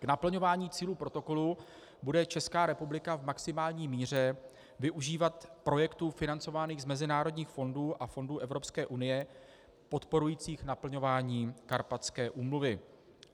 K naplňování cílů protokolu bude Česká republika v maximální míře využívat projektů financovaných z mezinárodních fondů a fondů Evropské unie podporujících naplňování Karpatské úmluvy.